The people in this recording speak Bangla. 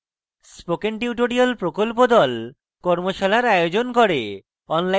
spoken tutorial প্রকল্প the কর্মশালার আয়োজন করে